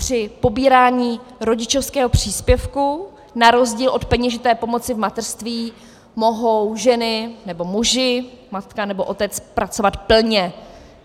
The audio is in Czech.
Při pobírání rodičovského příspěvku na rozdíl od peněžité pomoci v mateřství mohou ženy nebo muži, matka nebo otec pracovat plně.